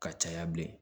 Ka caya bilen